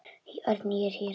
Örn, ég er hér